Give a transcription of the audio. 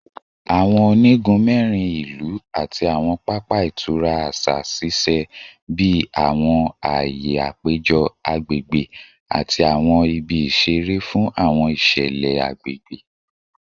Awọn onigun mẹrin ilu ati awọn papa itura aṣa ṣiṣẹ bi awọn aaye apejọ agbegbe ati awọn ibi isere fun awọn iṣẹlẹ agbegbe